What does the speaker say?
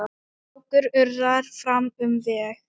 Fákur urrar fram um veg.